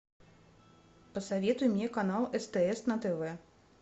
посоветуй мне канал стс на тв